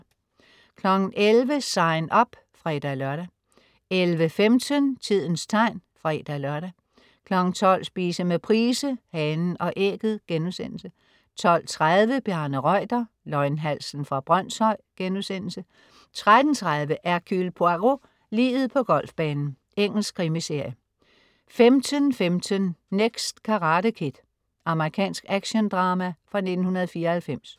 11.00 SIGN UP (fre-lør) 11.15 Tidens tegn (fre-lør) 12.00 Spise med Price. Hanen og Ægget* 12.30 Bjarne Reuter. Løgnhalsen fra Brønshøj* 13.30 Hercule Poirot: Liget på golfbanen. Engelsk krimiserie 15.15 Next Karate Kid. Amerikansk actiondrama fra 1994